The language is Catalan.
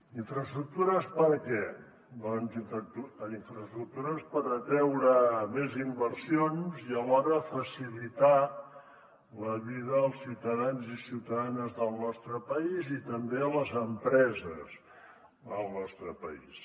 infraestructures per a què doncs infraestructures per atreure més inversions i alhora facilitar la vida dels ciutadans i ciutadanes del nostre país i també a les empreses del nostre país